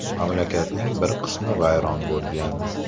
Mamlakatning bir qismi vayron bo‘lgan.